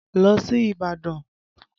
Lọ sí Ìbàdàn!